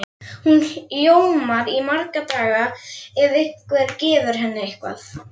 Hún ljómar í marga daga ef einhver gefur henni eitthvað.